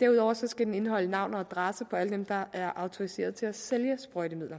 derudover skal den indeholde navn og adresse på alle dem der er autoriseret til at sælge sprøjtemidler